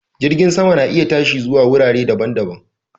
Jirgin sama na iya tashi zuwa wurare daban-daban